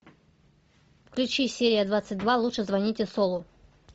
включи серия двадцать два лучше звоните солу